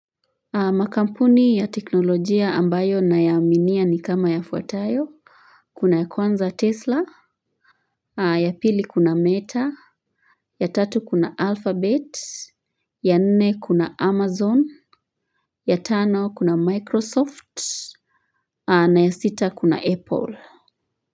Makampuni ya teknolojia ambayo nayaaminia ni kama yafuatayo kuna ya kwanza tesla ya pili kuna meta ya tatu kuna alphabet ya nne kuna amazon ya tano kuna microsoft na ya sita kuna apple.